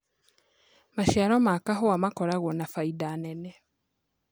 Macĩaro ma kahũa makoragwo na baĩda nene